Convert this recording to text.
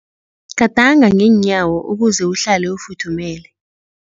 Gadanga ngeenyawo ukuze uhlale ufuthumele.